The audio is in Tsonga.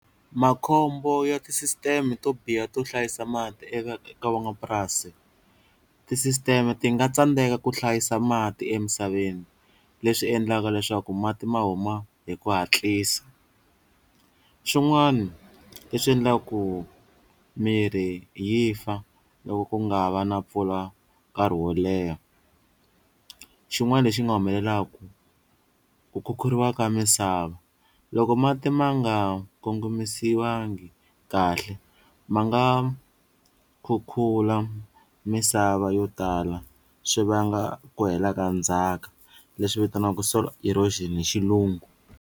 Makhombo ya tisisiteme to biha to hlayisa mati eka ka van'wamapurasi tisisteme ti nga tsandeka ku hlayisa mati emisaveni leswi endlaka leswaku mati ma huma hi ku hatlisa, swin'wani leswi endlaka ku mirhi yi fa loko ku nga va na mpfula nkarhi wo leha xin'wana lexi nga humelelaka, ku khukhuriwa ka misava loko mati ma nga kongomisiwangi kahle ma nga khukhula misava yo tala swi vanga ku hela ka ndzhaka leswi vitaniwaka soil erosion hi xilungu.